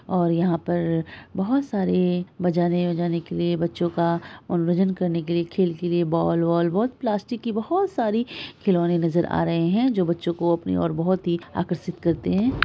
और यहाँ पर बहुत सारे बजाने उजाने के लिए बच्चो का मनोरंजन करने के लिए खेल के लिए बॉल वॉल बहोत प्लास्टिक की बहोत सारी खिलौने नज़र आ रहे हैं जो बच्चों की अपनी ओर बहोत ही आकर्षित करते हैं।